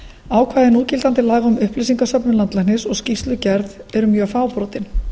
ákvæði núgildandi laga um upplýsingasöfnun landlæknis og skýrslugerð eru mjög fábrotin